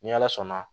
Ni ala sɔnna